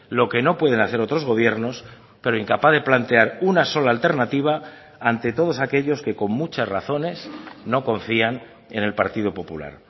lo que no pueden hacer otros gobiernos pero incapaz de plantear una sola alternativa ante todos aquellos que con muchas razones no confían en el partido popular